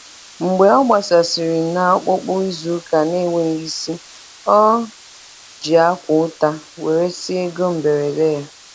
Mgbe ọ gbasasịrị na ọpụpụ izu ụka na-enweghị isi, o ji akwa ụta weresịa ego mberede ya.